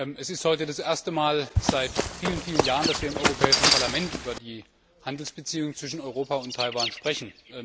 Es ist heute das erste Mal seit vielen Jahren, dass wir im Europäischen Parlament über die Handelsbeziehungen zwischen Europa und Taiwan sprechen.